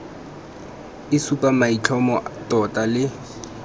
e supa maitlhomo tota le